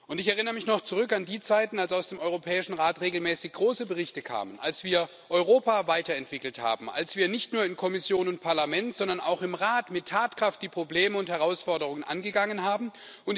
Ich erinnere mich noch zurück an die Zeiten, als aus dem Europäischen Rat regelmäßig große Berichte kamen, als wir Europa weiterentwickelt haben, als wir nicht nur in Kommission und Parlament, sondern auch im Rat mit Tatkraft die Probleme und Herausforderungen angegangen sind.